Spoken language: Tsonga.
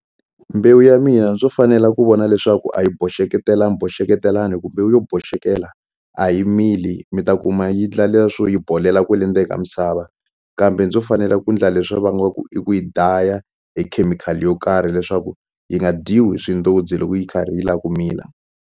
Mbewu ya mina ndzo fanela ku vona leswaku a yi boxeketelaniboxeketelani hi ku yo boxekela a yi mili mi ta kuma yi ndla swo yi bolela kwale ndzeni ka misava kambe ndzo fanela ku ndla leswiya va ngo i ku yi daya hi khemikhali yo karhi leswaku yi nga dyiwi swindozi loko yi karhi yi la ku mila.